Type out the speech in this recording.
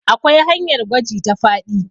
akwai hanyar gwaji ta faɗi